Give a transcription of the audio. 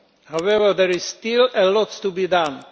However, there is still a lot to be done.